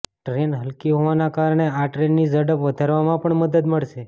train હલ્કી હોવાના કારણે આ ટ્રેનની સ્પીડ વધારવામાં પણ મદદ મળશે